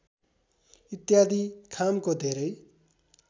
इत्यादि खामको धेरै